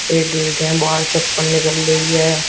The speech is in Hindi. एक ए_टी_एम बाहर चप्पल निकल रही है।